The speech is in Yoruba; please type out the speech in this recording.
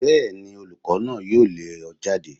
Bẹ́ẹ̀ni olùkọ́ náà yóò lé ọ jáde.